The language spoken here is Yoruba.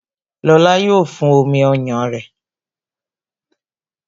Lóla yo fún omi ọyàn rẹ